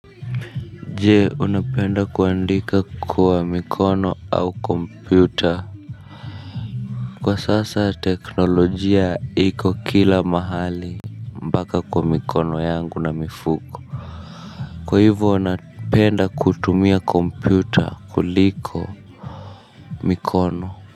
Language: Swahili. Jee, unapenda kuandika kuwa mikono au kompyuta. Kwa sasa teknolojia iko kila mahali mpaka kuwa mikono yangu na mifuko. Kwa hivo napenda kutumia kompyuta kuliko mikono.